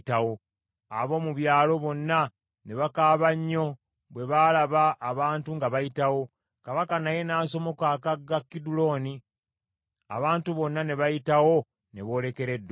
Ab’omu byalo bonna ne bakaaba nnyo bwe baalaba abantu nga bayitawo. Kabaka naye n’asomoka akagga Kidulooni, abantu bonna ne bayitawo ne boolekera eddungu.